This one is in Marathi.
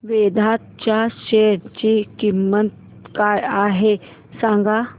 वेदांत च्या शेअर ची किंमत काय आहे सांगा